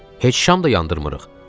Heç şam da yandırmırıq.